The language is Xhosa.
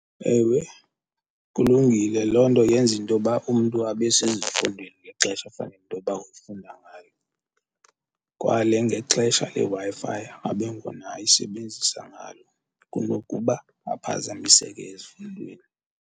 Ewe, kulungile. loo nto yenza intoba umntu abe sezifundweni ngexesha efanele intoba ufunda ngayo kwale ngexesha leWi-Fi abe ngona ayisebenzisa ngalo kunokuba aphazamiseke ezifundweni.